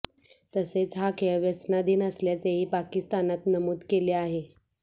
तसेच हा खेळ व्यसनाधीन असल्याचेही पाकिस्तानात नमूद केले आहे